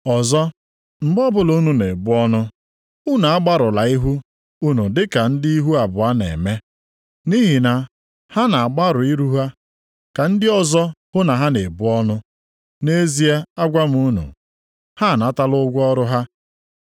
“Ọzọ, mgbe ọbụla unu na-ebu ọnụ, unu agbarụla ihu unu dịka ndị ihu abụọ na-eme. Nʼihi na ha na-agbarụ ihu ha ka ndị ọzọ hụ na ha na-ebu ọnụ. Nʼezie agwa m unu, ha anatala ụgwọ ọrụ ha.